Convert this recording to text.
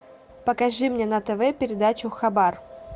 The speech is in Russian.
покажи мне на тв передачу хабар